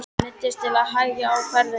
Neyddist til að hægja á ferðinni.